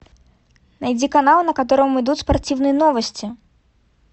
найди канал на котором идут спортивные новости